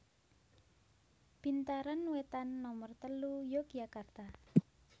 Bintaran Wetan Nomer telu Yogyakarta